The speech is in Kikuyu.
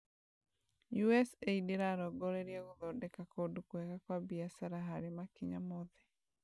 USAID ĩrarongoreria gũthondeka kũndũ kũega kwa biashara harĩ makinya mothe